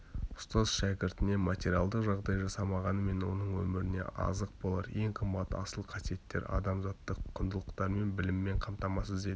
ұстаз шәкіртіне материялдық жағдай жасамағанымен оның өміріне азық болар ең қымбат асыл қасиеттер адамзаттық құндылықтармен біліммен қамтамасыз етіп